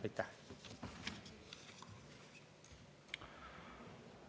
Aitäh!